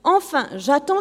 Enfin, j